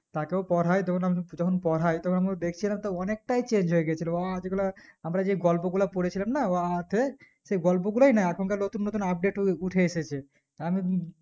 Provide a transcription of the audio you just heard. তাকেও পড়ায় তখন আমি যখন পড়ায় তখন আমি দেখছিলাম তা অনিকটাই change হয়ে গেছিল অযেগুলা আমরা যেই গল্প গুলো পড়েছিলামনা অ, আ তে সেই গল্প গুলোই নাই এখন কার নতুন নতুন update ওই উঠে এসেছে আমি